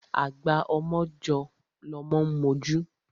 Agba ọmọ jọ́ lọmọ ń mojú.